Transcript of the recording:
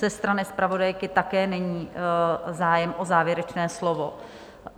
Ze strany zpravodajky také není zájem o závěrečné slovo?